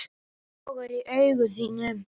Það logar í augum þínum.